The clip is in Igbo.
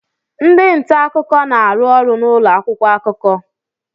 Ndị nta akụkọ na-arụ ọrụ n'ụlọ akwụkwọ akụkọ.